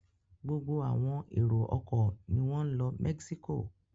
Gbogbo àwọn èrò-ọkọ̀ ni wọ́n ń lọ Mexico.